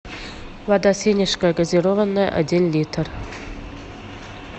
вода сенежская газированная один литр